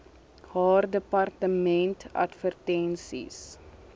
haar departement advertensies